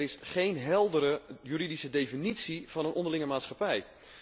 Er is geen heldere juridische definitie van een 'onderlinge maatschappij'.